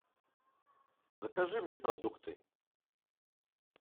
закажи мне продукты